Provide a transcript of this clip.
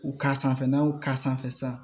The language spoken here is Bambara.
U ka sanfɛ n'aw ka sanfɛ sa